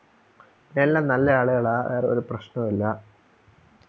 എല്ലാം നല്ല ആളുകള ആരെ ഒരു പ്രശ്‌നവില്ല